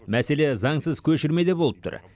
мәселе заңсыз көшірмеде болып тұр